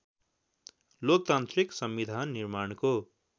लोकतान्त्रिक संविधान निर्माणको